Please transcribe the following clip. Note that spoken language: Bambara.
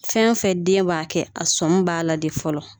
Fɛn o fɛn den b'a kɛ a sɔmin b'a la de fɔlɔ